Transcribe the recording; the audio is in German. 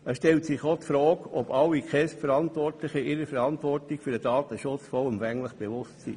Es stellt sich auch die Frage, ob sich alle KESB-Verantwortlichen ihrer Verantwortung für den Datenschutz vollumfänglich bewusst sind.